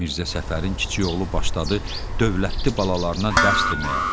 Mirzə Səfərin kiçik oğlu başladı dövlətli balalarına dərs deməyə.